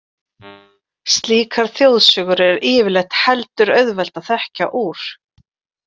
Slíkar þjóðsögur er yfirleitt heldur auðvelt að þekkja úr.